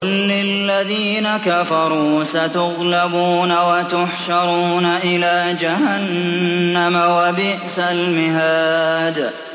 قُل لِّلَّذِينَ كَفَرُوا سَتُغْلَبُونَ وَتُحْشَرُونَ إِلَىٰ جَهَنَّمَ ۚ وَبِئْسَ الْمِهَادُ